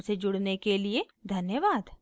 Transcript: हमसे जुड़ने के लिए धन्यवाद